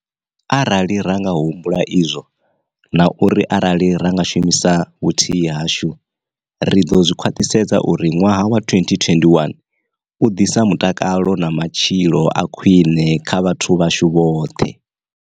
Arali ra nga humbula izwo, na uri arali ra nga shumisa vhuthihi hashu, ri ḓo khwaṱhisedza uri ṅwaha wa 2021 u ḓisa mutakalo na matshilo a khwiṋe kha vhathu vhashu vhoṱhe.